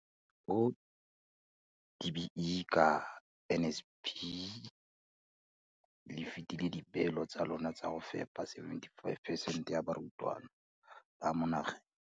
O, DBE, ka NSNP le fetile dipeelo tsa lona tsa go fepa 75 percent ya barutwana ba mo nageng.